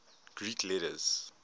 greek letters